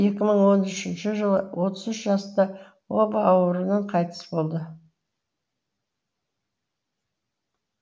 екі мың он үшінші жылы отыз үш жаста оба ауруынан қайтыс болды